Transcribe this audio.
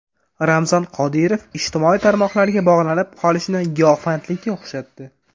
Ramzan Qodirov ijtimoiy tarmoqlarga bog‘lanib qolishni giyohvandlikka o‘xshatdi.